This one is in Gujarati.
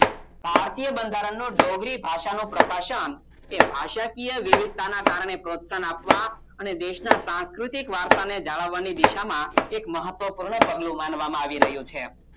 ભારતીય બંધારણનું ડોગરી ભાષાનો પ્રકાશન એ ભાષાકીય વિવિધતાના કારણે પ્રોત્સાહન આપવા અને દેશના સાકૃતિક વારસાને જાળવવાની દિશામાં એક મહત્વપૂર્ણ પગલું માનવામાં આવી રહ્યો છે